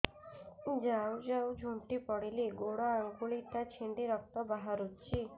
ଯାଉ ଯାଉ ଝୁଣ୍ଟି ପଡ଼ିଲି ଗୋଡ଼ ଆଂଗୁଳିଟା ଛିଣ୍ଡି ରକ୍ତ ବାହାରୁଚି